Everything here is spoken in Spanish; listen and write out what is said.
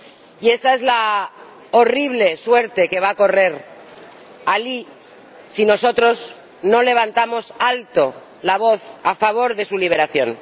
Y esa es la horrible suerte que va a correr Alí si nosotros no levantamos alto la voz a favor de su liberación.